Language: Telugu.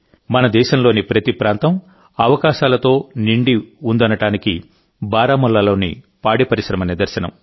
మన దేశంలోని ప్రతి ప్రాంతం అవకాశాలతో నిండి ఉందనడానికి బారాముల్లాలోని పాడి పరిశ్రమ నిదర్శనం